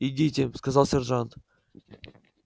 идите сказал сержант